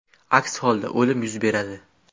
Aks holda o‘lim yuz beradi”.